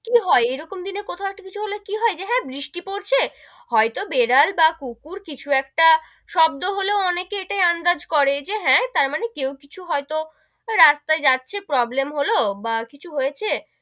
কি হয়, এরকম দিনে কোথাও একটা কিছু হলে কি হয় যে হেঁ, বৃষ্টি পড়ছে, হয়তো বেড়াল বা কুকুর কিছু একটা শব্দ হলেও অনেকেই ইটা আন্দাজ করে যে হেঁ তারমানে কেউ কিছু হয়তো রাস্তায় যাচ্ছে problem হলো, বা কিছু হয়েছে,